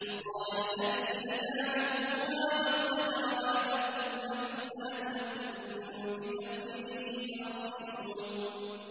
وَقَالَ الَّذِي نَجَا مِنْهُمَا وَادَّكَرَ بَعْدَ أُمَّةٍ أَنَا أُنَبِّئُكُم بِتَأْوِيلِهِ فَأَرْسِلُونِ